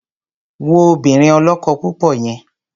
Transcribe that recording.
Wo obìnrin ọlọ́kọ-púpọ̀ yẹn!